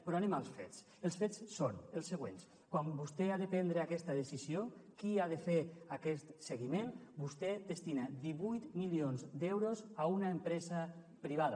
però anem als fets els fets són els següents quan vostè ha de prendre aquesta decisió qui ha de fer aquest seguiment vostè destina divuit milions d’euros a una empresa privada